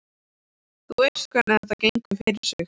Þú veist hvernig þetta gengur fyrir sig.